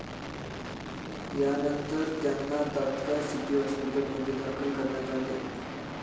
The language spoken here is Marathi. यानंतर त्यांना तात्काळ सिटी हॉस्पीटलमध्ये दाखल करण्यात आले.